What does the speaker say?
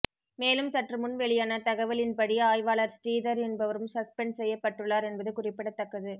மேலும் சற்று முன் வெளியான தகவலின்படி ஆய்வாளர் ஸ்ரீதர் என்பவரும் சஸ்பெண்ட் செய்யப்பட்டுள்ளார் என்பது குறிப்பிடத்தக்கது